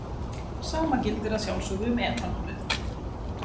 Sama gildir að sjálfsögðu um etanólið.